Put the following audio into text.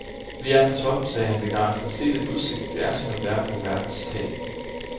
Vi er på toppen, sagde han begejstret, se den udsigt, det er som at være på verdens tag.